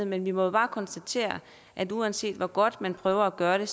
men vi må bare konstatere at uanset hvor godt man prøver at gøre det